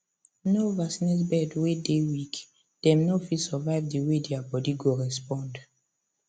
no vaccinate bird way dey weak dem no fit survive the way their body go respond